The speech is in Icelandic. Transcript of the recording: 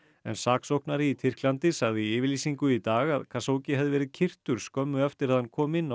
en saksóknari í Tyrklandi sagði í yfirlýsingu í dag að Khashoggi hefði verið skömmu eftir að hann kom inn á